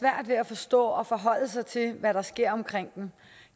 ved at forstå og forholde sig til hvad der sker omkring dem